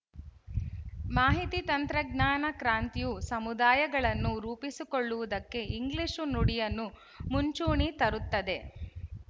ಮಾಹಿತಿ ತಂತ್ರಜ್ಞಾನ ಕ್ರಾಂತಿಯು ಸಮುದಾಯಗಳನ್ನು ರೂಪಿಸಿಕೊಳ್ಳುವುದಕ್ಕೆ ಇಂಗ್ಲಿಶು ನುಡಿಯನ್ನು ಮುಂಚೂಣಿ ತರುತ್ತದೆ